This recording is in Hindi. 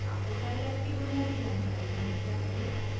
आपको scilab की बुनियादी जानकारी होनी चाहिए